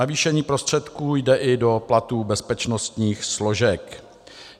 Navýšení prostředků jde i do platů bezpečnostních složek.